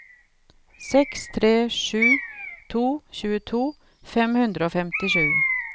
seks tre sju to tjueto fem hundre og femtisju